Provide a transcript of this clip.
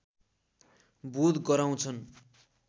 बोध गराउँछन्